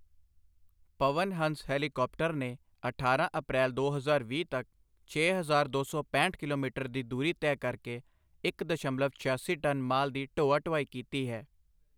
ਪਵਨ Hans helicopter ਨੇ ਅਠਾਰਾਂ April, ਦੋ ਹਜ਼ਾਰ ਵੀਹ ਤੱਕ ਛੇ ਹਜ਼ਾਰ ਦੋ ਸੋ ਪੈਂਹਠ ਕਿਲੋਮੀਟਰ ਦੀ ਦੂਰੀ ਤੈਅ ਕਰਕੇ ਇਕ ਦਸ਼ਮਲਵ ਛਿਆਸੀ ਟਨ ਮਾਲ ਦੀ ਢੋਆ ਢੁਆਈ ਕੀਤੀ ਹੈ।